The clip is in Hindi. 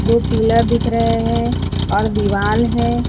दो पिलर दिख रहे हैं और दीवाल है।